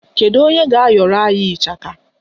Kedu onye ga-ayọrọ anyị ịchaka?